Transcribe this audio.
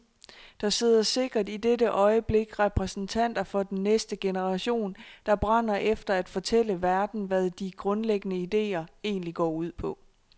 Der sidder sikkert i dette øjeblik repræsentanter for den næste generation der brænder efter at fortælle verden hvad de grundlæggende ideer egentlig går ud på.